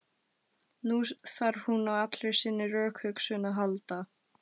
Nú þarf hún á allri sinni rökhugsun að halda.